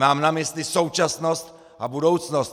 Mám na mysli současnost a budoucnost!